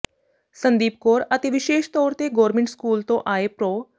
ਸੰਦੀਪ ਕੌਰ ਅਤੇ ਵਿਸ਼ੇਸ਼ ਤੌਰ ਤੇ ਗੌਰਮਿੰਟ ਸਕੂਲ ਤੋਂ ਆਏ ਪ੍ਰੋ